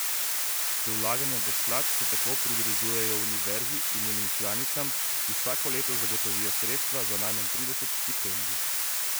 Z vlaganjem v sklad se tako pridružujejo univerzi in njenim članicam, ki vsako leto zagotovijo sredstva za najmanj trideset štipendij.